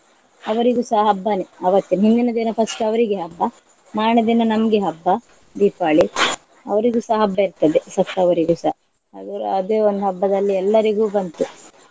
ಅವರಿಗುಸ ಹಬ್ಬಾನೆ ಅವತ್ತು. ಮುಂದಿನ ದಿನ first ಅವರಿಗೆ ಹಬ್ಬ, ಮಾರನೆದಿನ ನಮ್ಗೆ ಹಬ್ಬ ದೀಪಾವಳಿ ಅವರಿಗುಸ ಹಬ್ಬ ಇರ್ತದೆ ಸತ್ತವರಿಗುಸ ಅವರ ಅದೇ ಒಂದು ಹಬ್ಬದಲ್ಲಿ ಎಲ್ಲರಿಗೂ ಬಂತು.